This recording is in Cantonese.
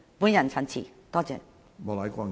我謹此陳辭，多謝。